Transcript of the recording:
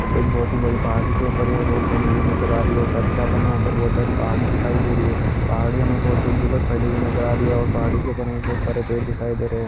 एक बहोत ही बड़ी पहाड़ी के ऊपर यह रोड बनी हुई नजर आ रही है और साथ ही साथ हमें यहाँ पर बहोत सारी पहाड़ी दिखाई दे रही है पहाड़ी हमें बहोत दूर-दूर तक फैली हुई नजर आ रही है और पहाड़ी के ऊपर हमें बहोत सारे पेड़ दिखाई दे रहे हैं।